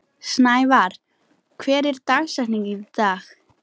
Snævarr, hver er dagsetningin í dag?